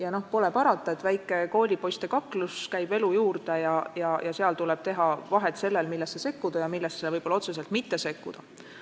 Aga noh, pole parata, et väike koolipoiste kaklus käib elu juurde ja sel juhul tuleb teha vahet sellel, millesse tuleks sekkuda ja millesse võib-olla otseselt ei maksaks sekkuda.